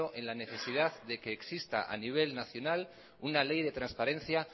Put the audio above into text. en la necesidad de que existía a nivel nacional una ley de transparencia